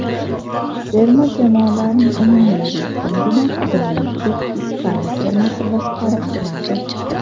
Terma jamoalarning umumiy reytingini doimgidek Ispaniya termasi boshqarib turibdi.